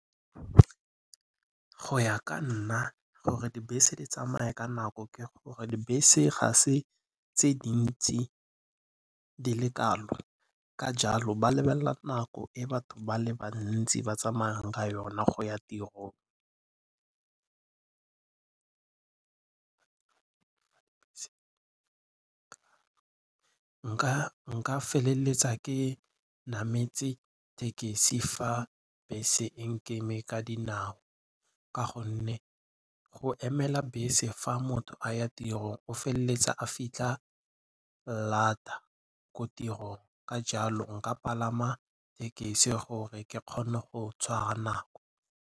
Go ya ka nna gore dibese di tsamaye ka nako ke gore dibese ga se tse dintsi di le kalo. Ka jalo ba lebelela nako e batho ba le bantsi ba tsamayang ka yona go ya tirong. Nka feleletsa ke nametse thekisi fa bese e nkeme ka dinao ka gonne go emela bese fa motho a ya tirong o feleletsa a fitlha lata ko tirong. Ka jalo nka palama thekisi gore ke kgone go tshwara nako.